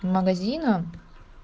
магазином